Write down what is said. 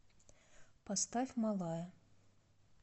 поставь малая